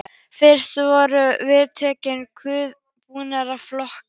Fyrst voru viðtölin kóðuð og búnir til flokkar.